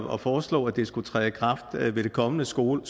at foreslå at det skulle træde i kraft ved det kommende skoleår